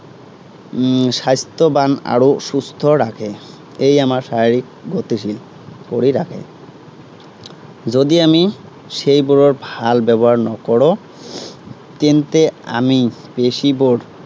উম স্বাস্থ্য়ৱান আৰু সুস্থ ৰাখে। এই আমাৰ শাৰীৰিক গতিশীল কৰি ৰাখে। যদি আমি সেইবোৰৰ ভাল ব্য়ৱহাৰ নকৰো তেন্তে আমি পেশীবোৰ